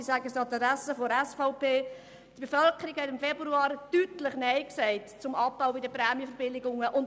Die Bevölkerung hat im Februar zum Abbau bei den Prämienverbilligungen deutlich Nein gesagt.